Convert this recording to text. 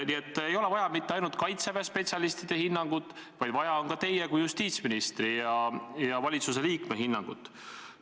Nii et ei ole vaja mitte ainult Kaitseväe spetsialistide hinnangut, vaid vaja on ka teie kui justiitsministri ja valitsusliikme hinnangut.